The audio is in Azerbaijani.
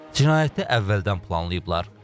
Cinayəti əvvəldən planlayıblar.